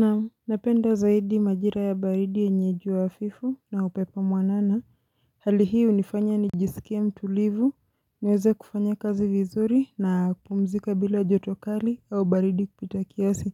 Naam napenda zaidi majira ya baridi yenye jua hafifu na upepo mwanana hali hii unifanya nijisikie mtulivu niweze kufanya kazi vizuri na kupumzika bila joto kali au baridi kupita kiasi